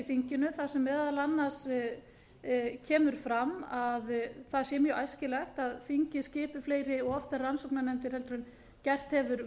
þinginu þar sem meðal annars kemur fram að það sé mjög æskilegt að þingið skipi fleiri og oftar rannsóknarnefndir en gert hefur